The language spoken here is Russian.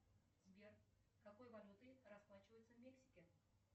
сбер какой валютой расплачиваются в мексике